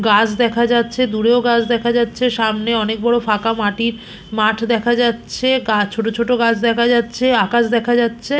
গাছ দেখা যাচ্ছে দূরেও গাছ দেখা যাচ্ছে। সামনে অনেক বড় ফাঁকা মাটির মাঠ দেখা যাচ্ছে। গাছ ছোট ছোট গাছ দেখা যাচ্ছে আকাশ দেখা যাচ্ছে।